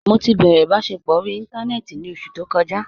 Mọ ti bẹrẹ ibasẹpọ orí ìntánẹnẹ́tì ní ọṣù tó kòjà.